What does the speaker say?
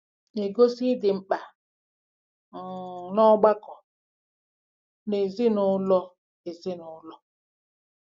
Na-egosi ịdị mkpa um n’ọgbakọ na ezi-na-ụlọ ezi-na-ụlọ